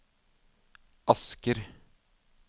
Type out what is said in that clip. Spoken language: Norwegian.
Asker